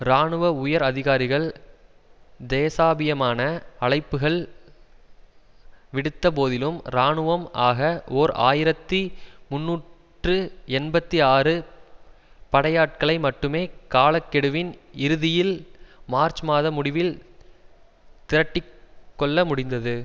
இராணுவ உயர் அதிகாரிகள் தேசாபியமான அழைப்புகள் விடுத்த போதிலும் இராணுவம் ஆக ஓர் ஆயிரத்தி முன்னூற்று எண்பத்தி ஆறு படையாட்களை மட்டுமே கால கெடுவின் இறுதியில் மார்ச் மாத முடிவில் திரட்டி கொள்ள முடிந்தது